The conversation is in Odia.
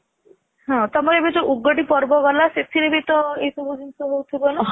ହଁ ତମର ଏବେ ଯଉ ଉଗାଡି ପର୍ବ ଗଲା ସେଥିରେ ବି ତ ଏଇ ସବୁ ଜିନିଷ ହଉ ଥିବା ନା